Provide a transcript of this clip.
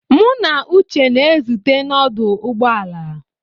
Mụ na Uche na-ezute na ọdụ ụgbọ ala.